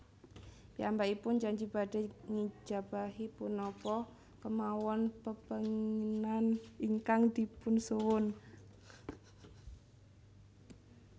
Piyambakipun janji badhé ngijabahi punapa kémawon pepénginan ingkang dipunsuwun